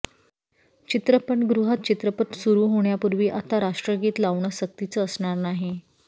चित्रपटगृहात चित्रपट सुरु होण्यापूर्वी आता राष्ट्रगीत लावणं सक्तीचं असणार नाही